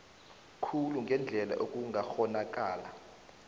khulu ngendlela ekungakghonakala